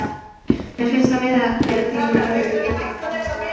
Mér finnst það miðað við það sem við lögðum í leikinn og baráttuna.